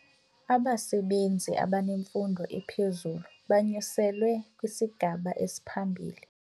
Abasebenzi abanemfundo ephezulu banyuselwe kwisigaba esiphambili.